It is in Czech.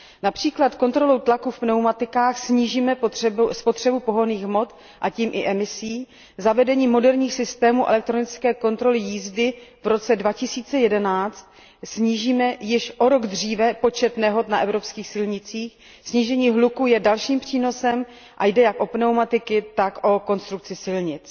Například kontrolou tlaku v pneumatikách snížíme spotřebu pohonných hmot a tím i emise, zavedením moderních systémů elektronické kontroly jízdy v roce 2011 snížíme již o rok dříve počet nehod na evropských silnicích, snížení hluku je dalším přínosem a jde jak o pneumatiky, tak o konstrukci silnic.